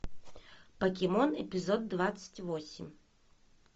покемон эпизод двадцать восемь